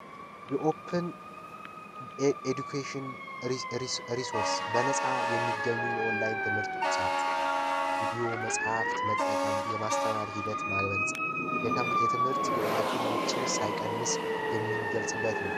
የኦፕን ኤዱኬሽን ሪሶርስ በነፃ የሚገኙ የኦንላይን ትምህርት ቁሳቁሶች ቪዲዮ ፣ መጻሕፍት መጠቀም የማስተማር ሂደት ማበልፀግ የትምህርት ግብዓቱን ውጪ ሳይቀንስ የምንገልጽበት ነው።